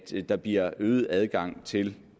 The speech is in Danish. der bliver øget adgang til